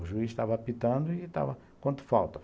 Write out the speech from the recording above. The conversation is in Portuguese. O juiz estava apitando e estava, quanto falta?